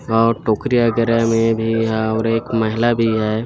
और टोकरी वगेरा में भी हव और एक महिला भी है।